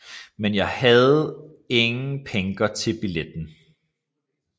Men jeg hadde ingen Penger til Billetten